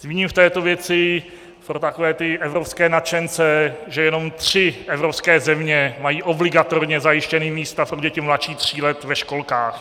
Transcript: Zmíním v této věci pro takové ty evropské nadšence, že jenom tři evropské země mají obligatorně zajištěna místa pro děti mladší tří let ve školkách.